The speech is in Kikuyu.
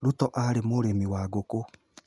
Ruto aarĩ mũrĩmi wa ngũkũ